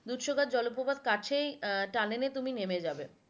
দুধসাগর জলপ্রপাত কাছেই আহ tunnel এ তুমি নেবে যাবে